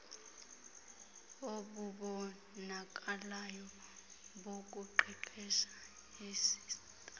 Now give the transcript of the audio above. obubonakalayo bokuqeqesha istafu